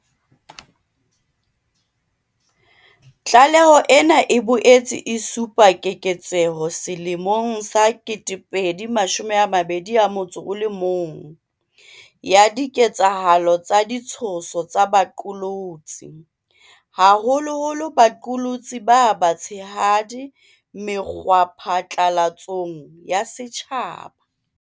Tlaleho ena e boetse e supa keketseho selemong sa 2021 ya diketsahalo tsa ditshoso tsa baqolotsi, haholoholo baqolotsi ba batshehadi mekgwaphatlalatsong ya setjhaba.